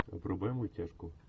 врубай мультяшку